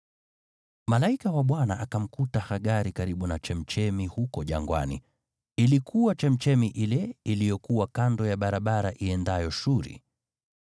Malaika wa Bwana akamkuta Hagari karibu na chemchemi huko jangwani; ilikuwa chemchemi ile iliyokuwa kando ya barabara iendayo Shuri.